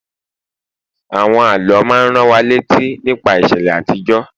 àwọn àlọ ma n ran wa létí nípa ìṣẹlẹ àtijó